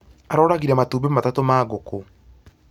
Aroragire matumbĩ matatũ ma ngũkũ